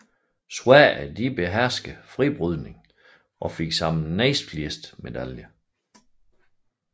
Sverige beherskede fribrydningen og fik samlet næstflest medaljer